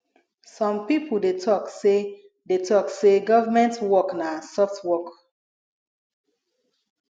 some pipo dey talk sey dey talk sey government work na soft work